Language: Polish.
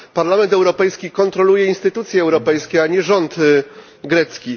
Parlament Europejski kontroluje instytucje europejskie, a nie rząd grecki.